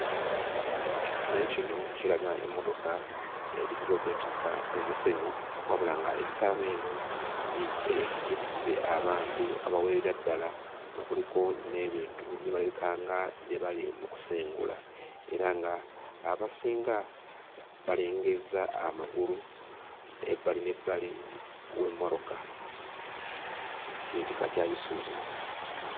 Ekifaananyi kino kiraga emmotoka ezitera okwetikka omusenyu, wabula ng'essaawa eno yeetisse abantu abawerera ddala nga kuliko n'ebintu bye balabikanga bye bali mu kusengula, era nga abasinga balengezza amagulu ebbali n'ebbali w'emmotoka ekika kya Isuzu.